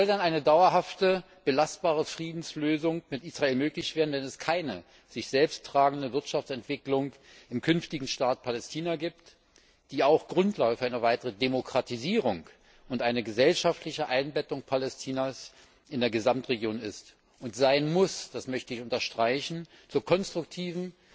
Wie soll denn eine dauerhafte belastbare Friedenslösung mit Israel möglich werden, wenn es keine sich selbst tragende Wirtschaftsentwicklung im künftigen Staat Palästina gibt, die auch Grundlage für eine weitere Demokratisierung und eine gesellschaftliche Einbettung Palästinas in der Gesamtregion ist und sein muss das möchte ich unterstreichen zur konstruktiven,